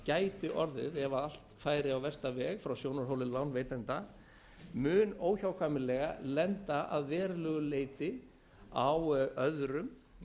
gæti orðið ef allt færi á versta veg frá sjónarhóli lánveitenda á óhjákvæmilega lenda að verulegu leyti á öðrum